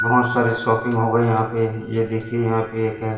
बहोत सारे शॉपिंग हो गए यहां पे ये देखिए यहां पे एक है--